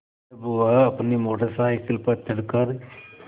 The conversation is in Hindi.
जब वह अपनी मोटर साइकिल पर चढ़ कर